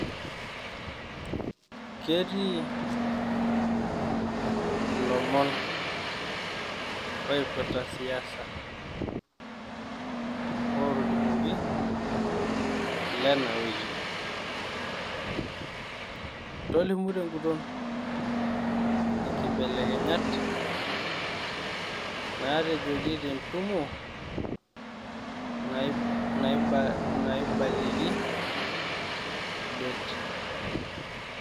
Ketii ilomon oipirrta siasa ootolimuoki lena wiki? tolimu teng`uton inkibelekenyat naatejoki tentumo naibalieki det?